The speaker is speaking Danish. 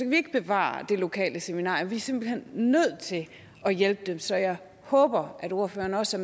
vi ikke bevare det lokale seminarie vi er simpelt hen nødt til at hjælpe dem så jeg håber at ordføreren også